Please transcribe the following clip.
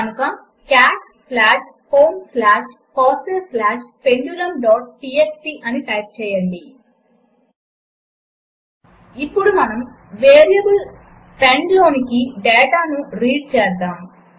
కనుక cat slash home slash FOSSEE slash pendulumటీఎక్స్టీ అని టైప్ చేయండి ఇప్పుడు మనము వేరియబుల్ పెండ్ లోనికి డాటాను రీడ్ చేద్దాము